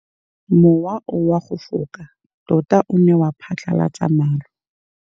Mowa o wa go foka tota o ne wa phatlalatsa maru.